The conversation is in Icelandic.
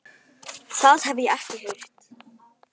Það hef ég ekki heyrt.